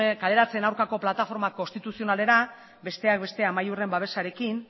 kaleratzeen aurkako plataforma konstituzionalera besteak beste amaiurren babesarekin